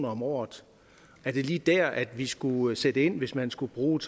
om året er det lige der vi skulle sætte ind hvis man skulle bruge